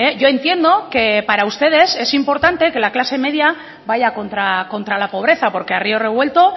yo entiendo que para ustedes es importante que la clase media vaya contra la pobreza porque a río revuelto